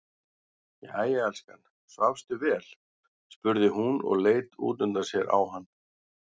Jæja elskan, svafstu vel, spurði hún og leit útundan sér á hann.